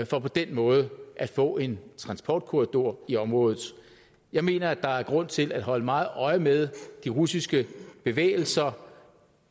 for på den måde at få en transportkorridor i området jeg mener at der er grund til at holde meget øje med de russiske bevægelser